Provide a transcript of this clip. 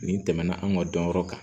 Nin tɛmɛna an ka dɔnyɔrɔ kan